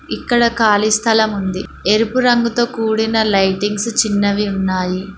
ఇక్కడ ఖాళీ స్థలం ఉంది ఎరుపు రంగుతో కూడిన లైటింగ్స్ చిన్నవి ఉన్నాయి.